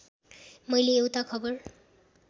मैले एउटा खबर